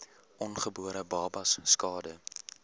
ongebore babas skade